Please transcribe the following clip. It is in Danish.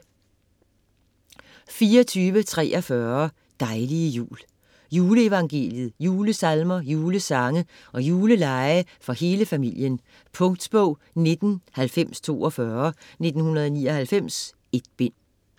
24.43 Dejlige jul Juleevangeliet, julesalmer, julesange og julelege for hele familien. Punktbog 199042 1999. 1 bind.